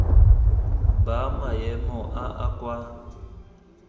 ba maemo a a kwa